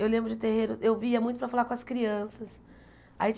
Eu lembro de terreiro eu via muito para falar com as crianças. Aí